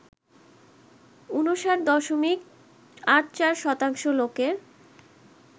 ৫৯.৮৪% লোকের